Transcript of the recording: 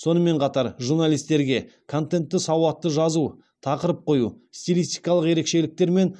сонымен қатар журналистерге контентті сауатты жазу тақырып қою стилистикалық ерекшеліктер мен